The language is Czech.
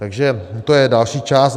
Takže to je další část.